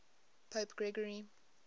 pope gregory